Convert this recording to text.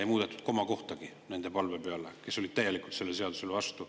Ei muudetud komakohtagi nende palve peale, kes olid täielikult selle seaduse vastu.